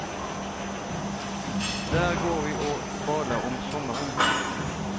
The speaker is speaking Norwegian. Der går vi og bader om sommeren.